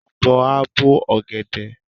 Ọ̀bọ á bó ọ̀gẹ̀dẹ̀.